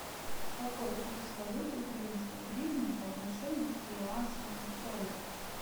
какой курс валюты украинской гривны по отношению к перуанскому солю